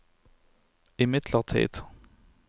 imidlertid